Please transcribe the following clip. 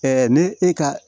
ne e ka